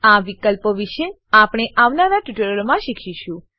આ વિકલ્પો વિશે આપણે આવનારા ટ્યુટોરીયલોમાં શીખીશું